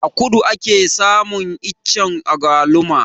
A kudu ake samun iccen agwaluma